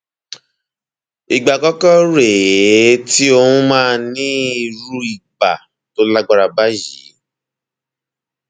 ìgbà àkọkọ rè é tí ó um máa ní irú ibà tó lágbára báyìí